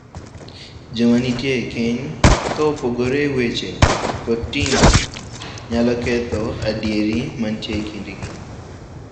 Joma nitie ekeny ka opogore e weche kod timbe nyalo ketho adieri mantie e kindgi.